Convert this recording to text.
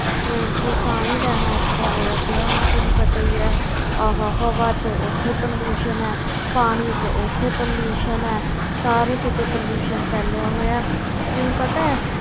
ਹੋਰ ਕੀ ਸਾਹ ਹੀ ਲੈਣਾ ਔਖਾ ਹੋਇਆ ਪਿਆ, ਹੁਣ ਤੈਨੂੰ ਪਤਾ ਹੀ ਹੈ ਆਹ ਹਵਾ ਵਿੱਚ ਉੱਥੇ pollution ਹੈ ਪਾਣੀ ਵਿੱਚ ਉੱਥੇ pollution ਹੈ, ਸਾਰੇ ਕਿਤੇ pollution ਫੈਲਿਆ ਹੋਇਆ ਹੈ ਤੈਨੂੰ ਪਤਾ ਹੈ